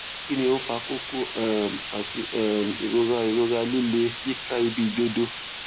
kí ni ó ń fa kókó um àti um ìrora ìrora líle yíká ibi ìdodo